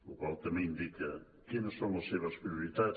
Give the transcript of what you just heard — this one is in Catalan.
la qual cosa també indica quines són les seves prioritats